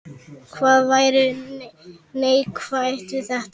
Hvað væri neikvætt við þetta?